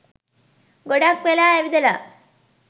ගොඩක් වෙලා ඇවිදලා